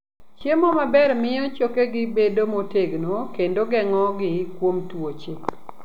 Chiemo maber miyo chokegi bedo motegno kendo geng'ogi kuom tuoche.